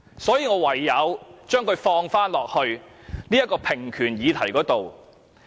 所以，我唯有將之納入平權議題中。